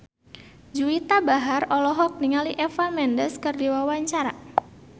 Juwita Bahar olohok ningali Eva Mendes keur diwawancara